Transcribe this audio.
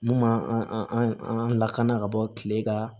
Mun b'an an lakana ka bɔ kile ka